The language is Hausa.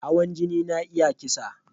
Hawan jini na iya kisa